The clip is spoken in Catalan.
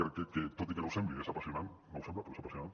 crec que tot i que no ho sembli és apassionant no ho sembla però és apassionant